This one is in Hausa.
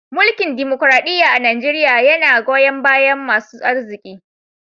Mulki'n dimokuradiyya a'Nijeriya yanna goyon baya masun aziki.